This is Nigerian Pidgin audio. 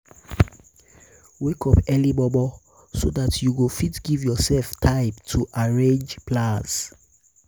wake up early momo so dat you go fit giv urself time to arrange plans